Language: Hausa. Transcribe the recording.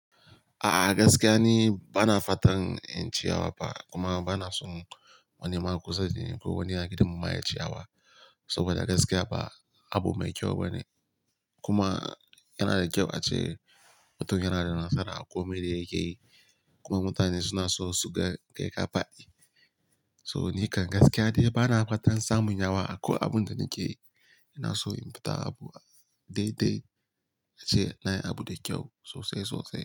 A'a gaskiya ni bana fatan in ci yawa ba kuma bana son wani makusa dani ko wani a gidan mu ma ya yi ciyawa. Soboda gaskiya ba abu mai kyau bane. Kuma yana da kyau ace mutum yana da nasara a komai da ya ke yi. Kuma mutane suna so su ga kai ka faɗi. So ni kan gaskiya de bana fatan samun yawa a ko abun da nake yi. Ina so in fita abu dai dai ace na yi abu da kyau sosai sosai.